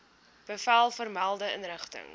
bevel vermelde inrigting